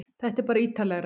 Þetta er bara ítarlegra